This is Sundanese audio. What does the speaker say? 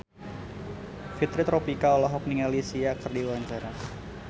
Fitri Tropika olohok ningali Sia keur diwawancara